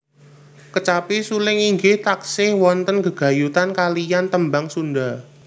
Kecapi suling inggih taksih wonten gegayutan kaliyan tembang Sunda